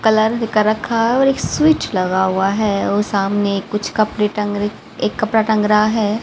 Colour भी कर रखा है और एक स्विच लगा हुआ है वो सामने कुछ कपड़े टंग एक कपड़ा टंग रहा है।